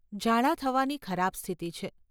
ઝાડા થવાની ખરાબ સ્થિતિ છે.